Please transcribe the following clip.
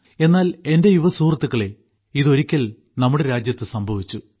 എന്നാൽ എന്റെ യുവസുഹൃത്തുക്കളെ ഇത് ഒരിക്കൽ നമ്മുടെ രാജ്യത്ത് സംഭവിച്ചു